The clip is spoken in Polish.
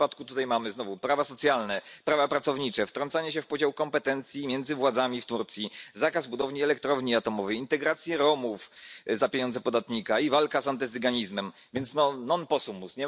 W tym przypadku mamy znowu prawa socjalne, prawa pracownicze, wtrącanie się w podział kompetencji między władzami w Turcji, zakaz budowania elektrowni atomowej, integrację Romów za pieniądze podatnika i walkę z antycyganizmem, więc non possumus